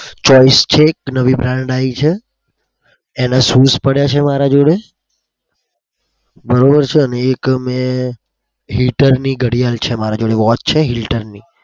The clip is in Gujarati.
એનાં choose પડ્યા છે મારા જોડે. Hitler ની ઘડિયાળ છે મારા જોડે. watch છે Hitler ની.